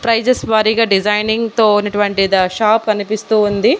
Prices వారీగా designing తో ఉన్నటువంటి ద షాప్ కనిపిస్తూ ఉంది.